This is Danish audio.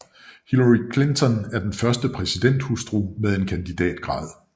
Hillary Clinton er den første præsidenthustru med en kandidatgrad